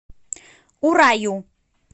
ураю